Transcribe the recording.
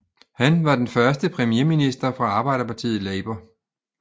Han var den første premierminister fra arbejderpartiet Labour